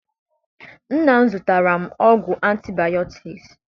Nna m zụtara m ọgwụ antibiotics.